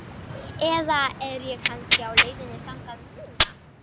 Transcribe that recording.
Eða er ég kannski á leiðinni þangað núna?